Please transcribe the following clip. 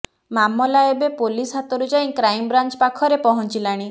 ମାମଲା ଏବେ ପୋଲିସ ହାତରୁ ଯାଇ କ୍ରାଇମବ୍ରାଞ୍ଚ ପାଖରେ ପହଞ୍ଚିଲାଣି